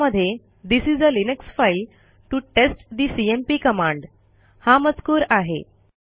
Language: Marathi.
त्यामध्ये this is uh Linux file to test the CMP command हा मजकूर आहे